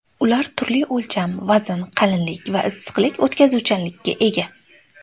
Ular turli o‘lcham, vazn, qalinlik va issiqlik o‘tkazuvchanlikka ega.